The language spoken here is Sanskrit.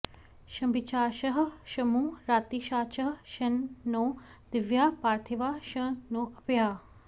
शम॑भि॒षाचः॒ शमु॑ राति॒षाचः॒ शं नो॑ दि॒व्याः पार्थि॑वाः॒ शं नो॒ अप्याः॑